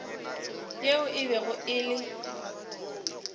yeo e bego e le